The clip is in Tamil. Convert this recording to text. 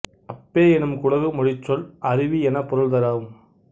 அப்பே எனும் குடகு மொழிச் சொல் அருவி எனப் பொருள்தரும்